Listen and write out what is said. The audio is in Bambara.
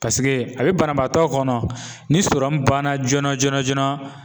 paseke a bɛ banabaatɔ kɔnɔ ni sɔrɔmu banna joona joona joona